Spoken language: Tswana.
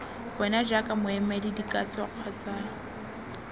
wena jaaka moemedi dikatso kgotsa